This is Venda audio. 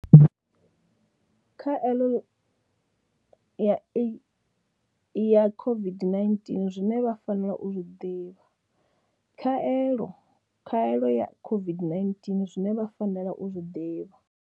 Khaeḽo ya e ya COVID-19 zwine vha fanela u zwi ḓivha. Khaelo, khaelo ya COVID-19 Zwine vha fanela u zwi ḓivha